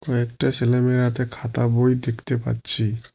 কয়েকটা ছেলেমেয়ের হাতে খাতা বই দেখতে পাচ্ছি।